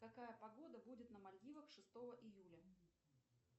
какая погода будет на мальдивах шестого июля